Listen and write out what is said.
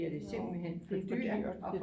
Nå det er for dyrt